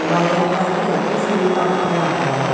Fire மாறி எதயோ fill பண்றாங்க.